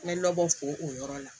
N bɛ nɔbɔ ko o yɔrɔ la